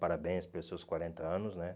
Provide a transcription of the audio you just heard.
Parabéns pelos seus quarenta anos, né?